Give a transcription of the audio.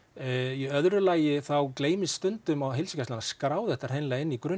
í öðru lagi þá gleymist stundum á að skrá þetta inn í